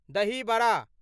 दही बड़ा